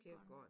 Kirkegården